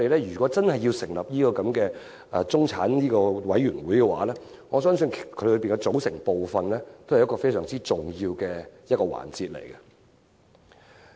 如果我們真要成立中產事務委員會，我相信當中的組成部分是很重要的環節。